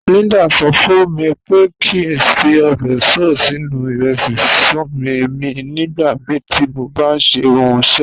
Líndà sọ̀ fún mí pé kí n fí óbè soy sínu irẹsí síṣun mí nígbàmíí tí mó bá n ṣẹ ọ̀unṣẹ́.